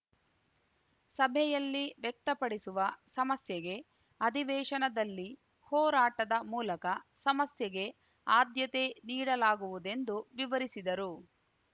ಸಭೆಯಲ್ಲಿ ವ್ಯಕ್ತಪಡಿಸುವ ಸಮಸ್ಯೆಗೆ ಅಧಿವೇಶನದಲ್ಲಿ ಹೋರಾಟದ ಮೂಲಕ ಸಮಸ್ಯೆಗೆ ಆದ್ಯತೆ ನೀಡಲಾಗುವುದೆಂದು ವಿವರಿಸಿದರು